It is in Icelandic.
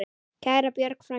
Kæra Björg frænka.